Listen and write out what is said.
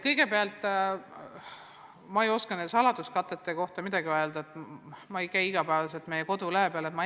Kõigepealt: ma ei oska selle saladuskatte kohta midagi öelda, ma ei käi iga päev meie kodulehel.